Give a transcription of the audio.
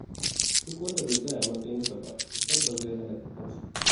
Duk wanda bai tsaya a matsayinsa ba, to tabbas zai halaka kansa.